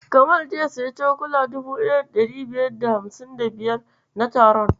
Kamal zai siyi cokula 1555 na taron.